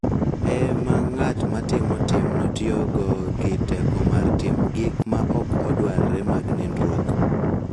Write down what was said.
E ma ng�at ma timo timno tiyogo gi teko mar timo gik ma ok odwarre mag nindruok.